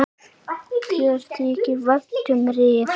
Mér þykir vænt um Rif.